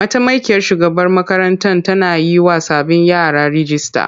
Mataimakiyar shugaban makarantar tana yiwa sabbin yara rijista.